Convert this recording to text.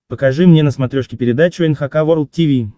покажи мне на смотрешке передачу эн эйч кей волд ти ви